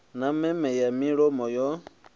na meme ya mulomo yo